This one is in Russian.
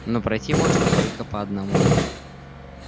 но пройти можно только по одному